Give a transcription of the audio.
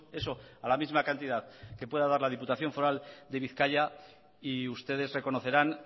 eso a la misma cantidad que pueda dar la diputación foral de bizkaia y ustedes reconocerán